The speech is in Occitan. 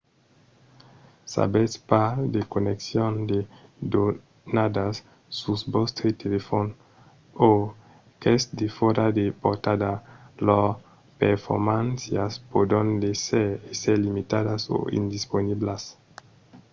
s'avètz pas de conneccion de donadas sus vòstre telefòn o qu'es defòra de portada lors performàncias pòdon èsser limitadas o indisponiblas